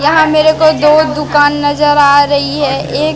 यहां मेरे को दो दुकान नजर आ रही है एक--